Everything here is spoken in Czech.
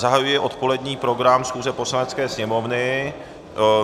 Zahajuji odpolední program schůze Poslanecké sněmovny.